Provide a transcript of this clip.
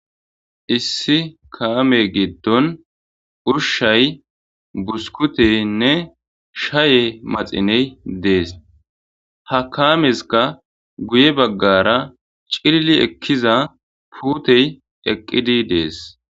issi kaame giddon ushay buskutenne shaye maxiney dees ha kaameska guye baggara cillili ekkiza puutey eqqidi dees